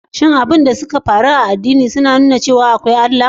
Shin abubuwan da suka faru a addini sun nuna cewa akwai Allah?